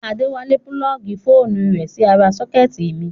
Adéwálé púlọ́ọ̀gì fóònù rẹ̀ sí ara sọ́kẹ́tì mi